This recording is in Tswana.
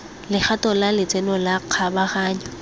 legato la letseno la kgabaganyo